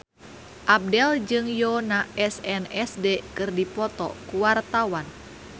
Abdel jeung Yoona SNSD keur dipoto ku wartawan